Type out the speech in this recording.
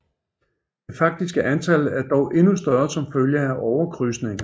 Det faktiske antal er dog endnu større som følge af overkrydsninger